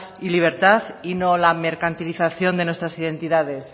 y libertad y no la mercantilización de nuestras identidades